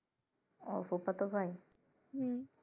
আহ ফুফাতো ভাই